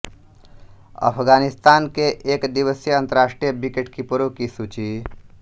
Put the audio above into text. अफ़ग़ानिस्तान के एक दिवसीय अंतरराष्ट्रीय विकेटकीपरों की सूची